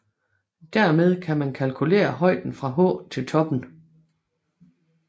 Dermed kan man kalkulere højden fra h til toppen